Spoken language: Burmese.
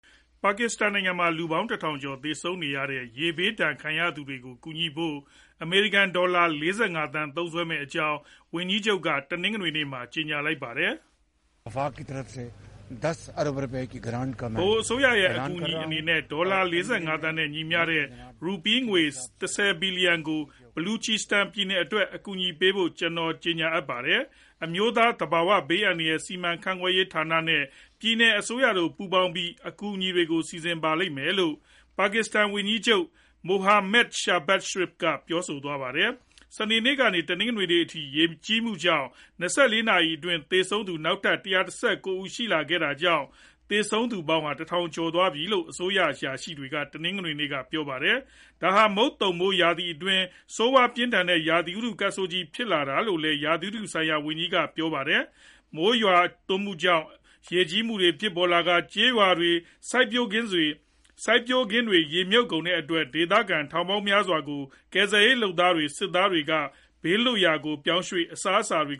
ပါကစ္စတန်နိုင်ငံမှာ လူပေါင်း ၁ ထောင်ကျော် သေဆုံးခဲ့ရတဲ့ ရေဘေးဒဏ်ခံနေရသူတွေကို ကူညီဖို့ အမေရိကန် ဒေါ်လာ ၄၅ သန်း သုံးစွဲမယ့်အကြောင်း ဝန်ကြီးချုပ်က တနင်္ဂနွေနေ့မှာ ကြေညာလိုက်ပါတယ်။ "ဗဟိုအစိုးရရဲ့ အကူအညီအနေနဲ့ ဒေါ်လာ ၄၅ သန်း နဲ့ ညီမျှတဲ့ ရူပီးငွေ ၁ဝ ဘီလျံ ကို Baluchistan ပြည်နယ်အတွက် အကူအညီပေးဖို့ ကျနော် ကြေညာအပ်ပါတယ်။ အမျိုးသား သဘာဝဘေးအန္တရာယ် စီမံခန့်ခွဲရေးဌာနဲ့ ပြည်နယ်အစိုးရတို့ ပူးပေါင်းပြီး အကူအညီတွေကို စီစဉ်ပါလိမ့်မယ်" လို့ ပါကစ္စတန်ဝန်ကြီးချုပ် Muhammad Shehbaz Sharif က ပြောသွားတာပါ။ စနေနေ့ကနေ တနင်္ဂနွေနေ့အထိ ရေကြီးမှုကြောင့် ၂၄ နာရီအတွင်း သေဆုံးသူ နောက်ထပ် ၁၁၉ ဦး ရှိခဲ့တာကြောင့် သေဆုံးသူ ၁,၀၀၀ ကျော်သွားပြီလို့ အစိုးရ အရာရှိတွေက တနင်္ဂနွေနေ့က ပြောပါတယ်။ ဒါဟာ မုတ်သုန်မိုးရာသီအတွင်းမှာ ဆိုးဝါးပြင်းထန်တဲ့ ရာသီဥတု ကပ်ဆိုးကြီးဖြစ်တယ်လို့လည်း ရာသီဥတုဆိုင်ရာ ဝန်ကြီးက ပြောပါတယ်။ မိုးအကြီးအကျယ် ရွာသွန်းမှုကြောင့် ရေကြီးလာကာ ကျေးရွာတွေ၊ စိုက်ပျိုးခင်းတွေဟာ ရေမြုပ်ကုန်တဲ့အတွက် ဒေသခံထောင်ပေါင်းများစွာကို ကယ်ဆယ်ရေးလုပ်သားတွေ၊ စစ်သားတွေက ဘေးလွတ်ရာကို ပြောင်းရွေ့၊ အစားအစာတွေ